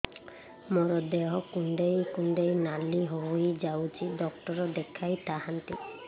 ମୋର ଦେହ କୁଣ୍ଡେଇ କୁଣ୍ଡେଇ ନାଲି ହୋଇଯାଉଛି ଡକ୍ଟର ଦେଖାଇ ଥାଆନ୍ତି